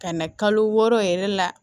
Ka na kalo wɔɔrɔ yɛrɛ la